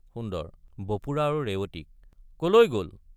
সুন্দৰ— বপুৰা আৰু ৰেৱতীক কলৈ গল?